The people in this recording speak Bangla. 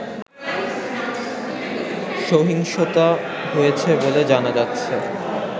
সহিংসতা হয়েছে বলে জানা যাচ্ছে